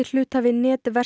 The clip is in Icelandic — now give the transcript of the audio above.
hluthafi